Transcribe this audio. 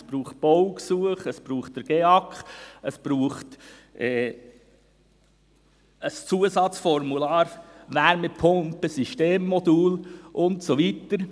Es braucht Baugesuche, es braucht einen GEAK, es braucht ein Zusatzformular «Wärmepumpen-System-Modul» und so weiter.